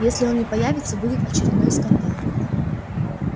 если он не появится будет очередной скандал